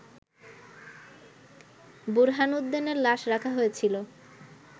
বুরহানুদ্দিনের লাশ রাখা হয়েছিল